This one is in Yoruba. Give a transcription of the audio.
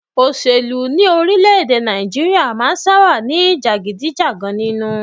Òṣèlú ní orílẹ̀-èdè Nàìjíríà máà ń sábáà ní jàgídíjàgan nínú.